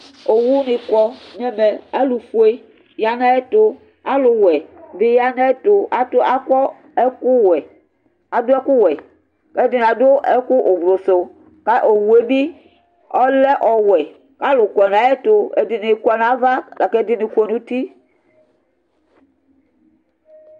owuni ƙɔ nɛvɛ alu ofoé ƴa nayɛtu ƙalʊ wʊɛ ɓi ƴa ŋayɛtʊ akɔ ɛƙʊ wʊɛ aɖʊ ɛƙʊ wuɛ kɛɖɩŋɩ aɖʊ ɛƙʊ ʊwlʊsʊ awʊ ɓɩ lɛ ɛƙʊ wʊɛ ƙʊ alʊ ƙɔ ŋaƴɛtʊ ɛɖɩŋɩ ƙɔ ŋava ƙɛɖɩŋi ƙɔ ŋutɩ